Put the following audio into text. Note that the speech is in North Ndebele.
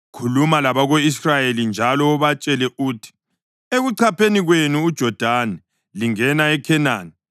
“Khuluma labako-Israyeli njalo ubatshele uthi: ‘Ekuchapheni kwenu uJodani lingena eKhenani,